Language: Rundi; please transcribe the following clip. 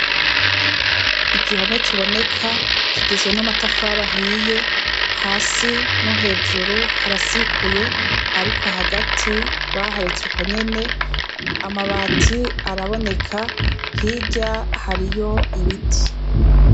Igihome kiboneka kigizwe n'amatafari ahiye hasi no hejuru harasikuye, ariko hagati baharetse uko nyene amabati araboneka hirya hariyo ibiti.